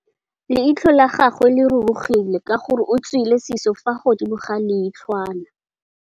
Leitlhô la gagwe le rurugile ka gore o tswile sisô fa godimo ga leitlhwana.